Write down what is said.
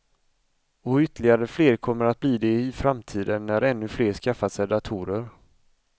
Och ytterligare fler kommer att bli det i framtiden, när ännu fler skaffat sig datorer.